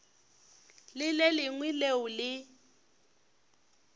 le le lengwe leo le